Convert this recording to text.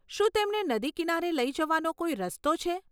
શું તેમને નદી કિનારે લઈ જવાનો કોઈ રસ્તો છે?